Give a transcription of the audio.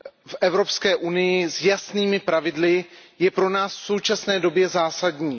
v Evropské unii s jasnými pravidly je pro nás v současné době zásadní.